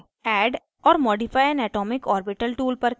add or modify an atomic orbital tool पर click करें